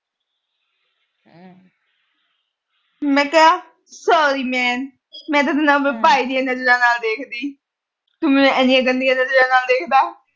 ਮੈਂ ਕਿਹਾ sorry man ਮੈਂ ਤੈਨੂੰ ਆਪਣੇ ਭਾਈ ਦੀਆਂ ਨਜਰਾਂ ਨਾਲ ਦੇਖਦੀ, ਤੂੰ ਮੈਨੂੰ ਇੰਨੀਆਂ ਗੰਦੀਆਂ ਨਜਰਾਂ ਨਾਲ ਦੇਖਦਾ।